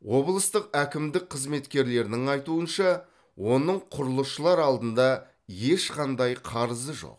облыстық әкімдік қызметкерлерінің айтуынша оның құрылысшылар алдында ешқандай қарызы жоқ